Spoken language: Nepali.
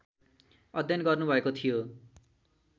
अध्ययन गर्नुभएको थियो